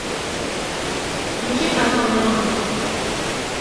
включи канал нано